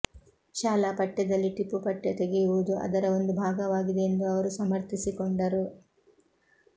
ಶಾಲಾ ಪಠ್ಯದಲ್ಲಿ ಟಿಪ್ಪು ಪಠ್ಯ ತೆಗೆಯುವುದು ಅದರ ಒಂದು ಭಾಗವಾಗಿದೆ ಎಂದು ಅವರು ಸಮರ್ಥಿಸಿಕೊಂಡರು